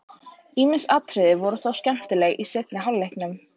Ýmis atriði voru þó skemmtileg í seinni hálfleiknum.